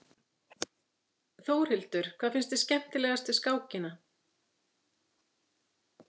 Þórhildur: Hvað finnst þér skemmtilegast við skákina?